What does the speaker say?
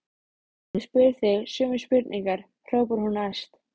Ég spyr þig sömu spurningar, hrópar hún æst.